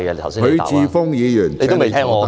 許智峯議員，請你坐下。